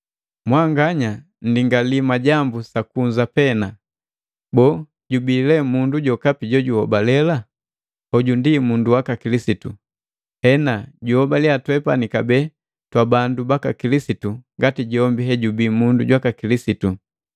Mwanganya nndingalii majambu sa kunza pena. Boo, jubii mundu jokapi jojuhobale ndi mundu waka Kilisitu? Hena, juholaliya twepani kabee twabandu baka Kilisitu ngati jombi ejubii mundu jwaka Kilisitu.